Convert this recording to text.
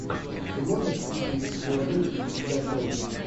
ты можешь включить в филадельфии всегда солнечно